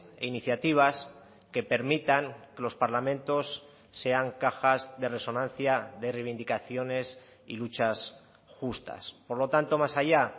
e iniciativas que permitan los parlamentos sean cajas de resonancia de reivindicaciones y luchas justas por lo tanto más allá